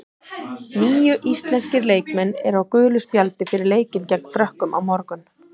Níu íslenskir leikmenn eru á gulu spjaldi fyrir leikinn gegn Frökkum á morgun.